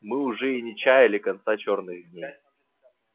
мы уж и не чаяли конца черных дней